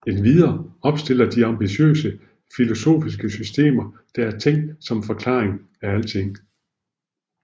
Endvidere opstiller de ambitiøse filosofiske systemer der er tænkt som forklaringer af alting